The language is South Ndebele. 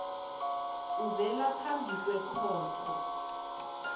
ovela phambi kwekhotho